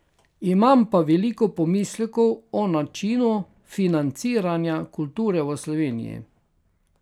Imam pa veliko pomislekov o načinu financiranja kulture v Sloveniji.